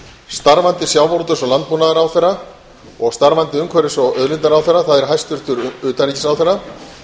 starfandi sjávarútvegs og landbúnaðarráðherra og starfandi umhverfis og auðlindaráðherra það er hæstvirtur utanríkisráðherra